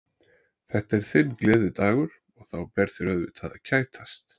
Þetta er þinn gleðidagur og þá ber þér auðvitað að kætast.